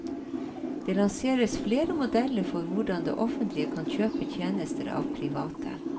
Og det lanseres flere modeller for hvordan det offentlige kan kjøpe tjenester av private.